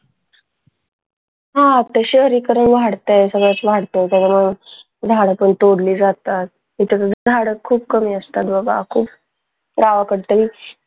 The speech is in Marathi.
ह आता शहरीकरण वाढतंय सगळाच वाढतंय त्याच्यामुळे झाडं पण तोडली जातात त्याच्यामुळे झाडं खूप कमी असतात आपण काय करतो